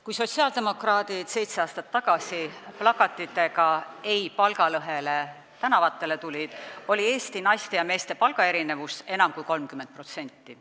Kui sotsiaaldemokraadid seitse aastat tagasi plakatitega "Ei palgalõhele!" tänavatele tulid, erinesid Eesti naiste ja meeste palgad enam kui 30%.